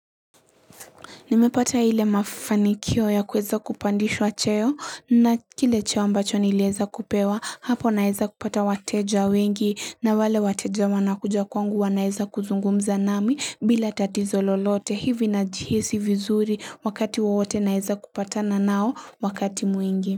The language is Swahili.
Nimepata hile mafanikio ya kweza kupandishwa cheo na kile cheo ambacho nileza kupewa hapo naeza kupata wateja wengi na wale wateja wanakuja kwangu wa naeza kuzungumza nami bila tatizo lolote hivi na jihisi vizuri wakati wawote naeza kupata na nao wakati mwingi.